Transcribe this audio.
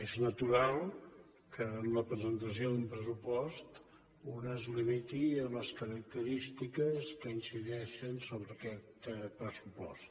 és natural que en la presentació d’un pressupost un es limiti a les característiques que incideixen sobre aquest pressupost